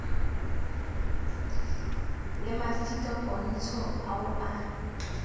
le mafika pontsho o a